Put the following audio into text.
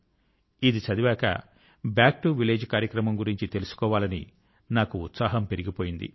ఇది చదివాక back to village కార్యక్రమం గురించి తెలుసుకోవాలని నాకు ఉత్సాహం పెరిగిపోయింది